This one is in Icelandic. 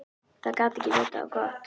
Það gat ekki vitað á gott.